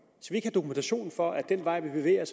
dokumentation for at den vej vi bevæger